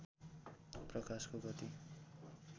प्रकाशको गति